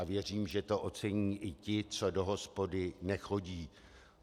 A věřím, že to ocení i ti, co do hospody nechodí.